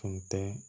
Tun tɛ